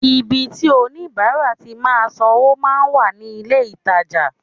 Ibi tí oníbàárà ti máa sanwó máa ń wà ní ilé-ìtajà